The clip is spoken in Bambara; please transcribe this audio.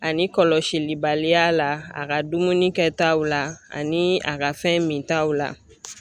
Ani kɔlɔsilibaliya la a ka dumuni kɛtaw la ani a ka fɛn mintaw la